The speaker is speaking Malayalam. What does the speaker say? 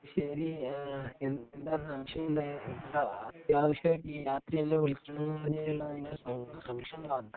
ശരി ആ എന്താ സംശയമുള്ളേ എന്താ അത്യാവശ്യമായിട്ട് ഈ രാത്രിയിൽ തന്നെ വിളിക്കണോന്നുണ്ടെങ്കിൽ